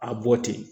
A bɔ ten